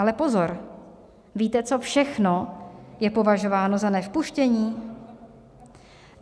Ale pozor, víte, co všechno je považováno za nevpuštění?